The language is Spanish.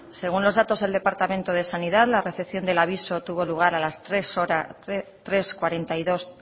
según los datos del departamento de sanidad la recepción del aviso tuvo lugar a las tres cuarenta y dos